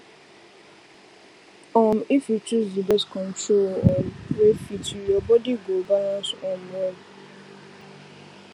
um if you choose the birth control um wey fit you your body go balance um well